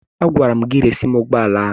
Agwara m gị resi m ụgbọala ahụ!